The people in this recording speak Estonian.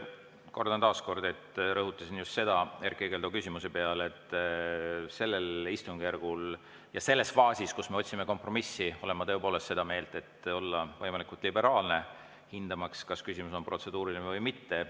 Kordan taas kord – rõhutasin seda ka Erkki Keldo küsimusele vastates –, et sellel istungjärgul ja selles faasis, kus me otsime kompromissi, olen ma tõepoolest seda meelt, et tuleb olla võimalikult liberaalne, hinnates, kas küsimus on protseduuriline või mitte.